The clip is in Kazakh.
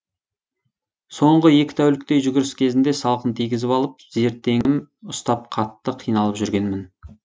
соңғы екі тәуліктей жүгіріс кезінде салқын тигізіп алып зертеңім ұстап қатты қиналып жүргенмін